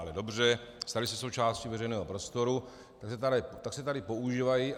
Ale dobře, staly se součástí veřejného prostoru, tak se tady používají.